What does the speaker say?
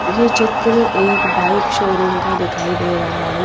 ये चित्र एक बाइक शोरूम का दिखाई दे रहा है।